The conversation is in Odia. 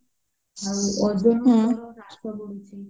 ଆଉ ବଢୁଚି